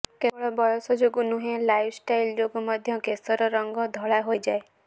କେବଳ ବୟସ ଯୋଗୁ ନୁହେଁ ଲାଇଫ୍ଷ୍ଟାଇଲ୍ ଯୋଗୁ ମଧ୍ୟ କେଶର ରଙ୍ଗ ଧଳା ହେଇଯାଏ